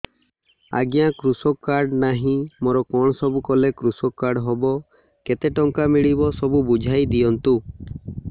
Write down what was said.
ଆଜ୍ଞା କୃଷକ କାର୍ଡ ନାହିଁ ମୋର କଣ ସବୁ କଲେ କୃଷକ କାର୍ଡ ହବ କେତେ ଟଙ୍କା ମିଳିବ ସବୁ ବୁଝାଇଦିଅନ୍ତୁ